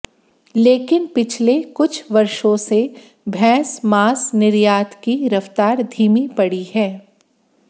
लेकिन पिछले कुछ वर्षों से भैंस मांस निर्यात की रफ्तार धीमी पड़ी है